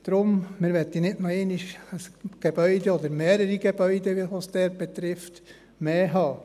Deshalb: Wir möchten nicht noch einmal ein solches oder wie dort mehrere solche Gebäude haben.